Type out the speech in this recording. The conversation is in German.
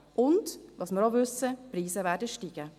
Und was wir auch wissen: Die Preise werden steigen.